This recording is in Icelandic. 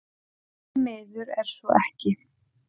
Því miður er svo ekki